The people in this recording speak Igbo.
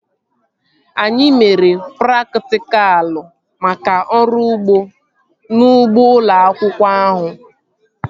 Anyị mere praktikal maka ọrụ ugbo n'ugbo ụlọ akwụkwọ ahụ